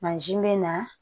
bɛ na